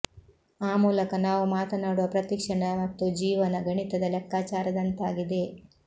ಆ ಮೂಲಕ ನಾವು ಮಾತನಾಡುವ ಪ್ರತಿ ಕ್ಷಣ ಮತ್ತು ಜೀವನ ಗಣಿತದ ಲೆಕ್ಕಾಚಾರದಂತಾಗಿದೆ